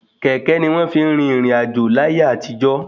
Kẹ̀kẹ́ ni wọ́n fi ń rin ìrìn àjò láyé àtijọ